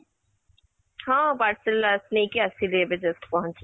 ହଁ , parcel ଆ ନେଇକି ଆସିଲି ଏବେ just ପହଞ୍ଚିଲି